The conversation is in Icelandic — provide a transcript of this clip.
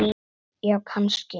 Já, kannski